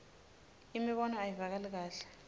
imibono ayivakali kahle